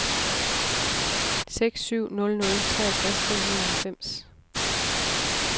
seks syv nul nul treogtres fem hundrede og halvfems